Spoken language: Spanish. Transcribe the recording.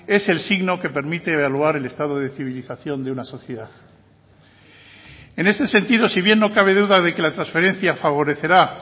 es el signo que permite evaluar el estado de civilización de una sociedad en este sentido si bien no cabe duda de que la transferencia favorecerá